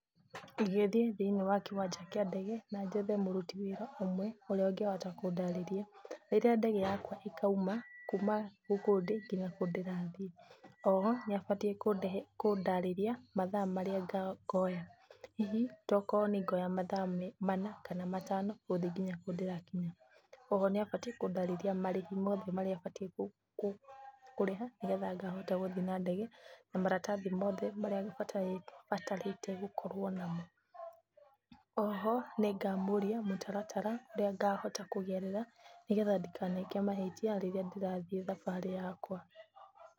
Ingĩthie thĩinĩ wa kĩwanjainĩ kĩa ndege na njethe mũruti wĩra ũmwe ũrĩa ũngĩhota kũndarĩria rĩrĩa ndege yakwa ĩkauma kuma gũkũ ndĩ nginya kũu ndĩrathiĩ. Oho nĩabatiĩ kũndarĩrĩa mathaa maria ngoya hihi tokorwo nĩngoya mathaa mana kana matano gũthiĩ nginya kũu ndĩrathiĩ. Oho nĩabatiĩ kũndarĩria marĩhi mothe marĩa batiĩ kũrĩha nĩgetha ngathiĩ na ndege na maratathi mothe maria batarĩte gũkorwo namo. Oho nĩngamũria mũtaratara ũrĩa ngahota kũgerera nĩgetha ndikaneke mahĩtia rĩrĩa ndĩrathiĩ thabarĩ yakwa.